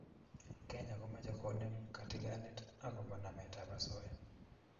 kenya komache konem katigonet akobo namet ab asoya